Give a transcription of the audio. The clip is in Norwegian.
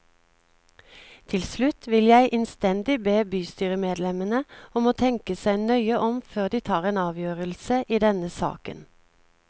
Til slutt vil jeg innstendig be bystyremedlemmene om å tenke seg nøye om før de tar en avgjørelse i denne saken.